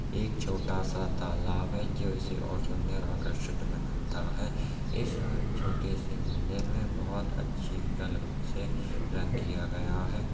एक छोटा सा तालाब है जो इसे ओर सुन्दर आकर्षित बनाता है इस छोटे से मंदिर में बोहोत अच्छी कलर से रंग किया गया है।